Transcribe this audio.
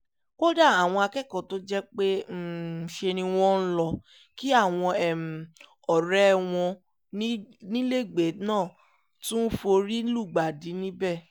kódà àwọn akẹ́kọ̀ọ́ tó jẹ́ pé ṣe ni wọ́n lọ́ọ́ kí àwọn ọ̀rẹ́ wọn nílẹ́gbẹ̀ẹ́ náà tún forí lùgbàdì níbẹ̀